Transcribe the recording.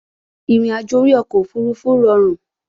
Ìrìnàjò orí ọkọ̀ òfurufú rọrùn